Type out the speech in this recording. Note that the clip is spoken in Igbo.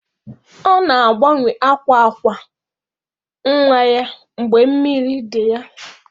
Ọ na-agbanwe akwa akwa nwa ya mgbe mmiri dị ya.